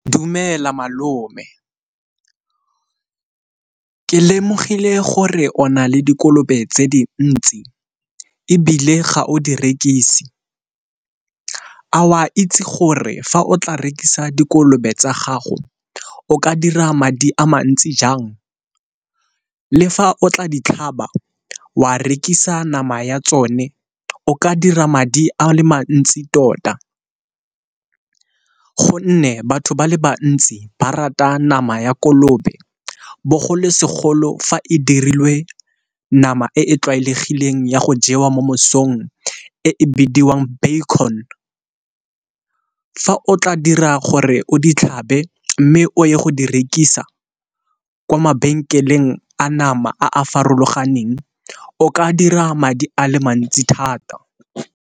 Dumela malome, ke lemogile gore o na le dikolobe tse dintsi ebile ga o di rekisi a o a itse gore fa o tla rekisa dikolobe tsa gago o ka dira madi a mantsi jang? Le fa o tla ditlhaba o a rekisa nama ya tsone o ka dira madi a le mantsi tota. Gonne batho ba le bantsi ba rata nama ya kolobe bogolo segolo fa e dirilwe nama e e tlwaelegileng ya go jewa mo mosong e bidiwang baecon, fa o tla dira gore o ditlhabe mme o ye go di rekisa kwa mabenkeleng a nama a a farologaneng o ka dira madi a le mantsi thata.